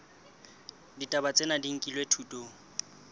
ditaba tsena di nkilwe thutong